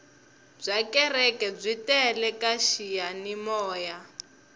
bya kereke byi tele ka xiyanimoya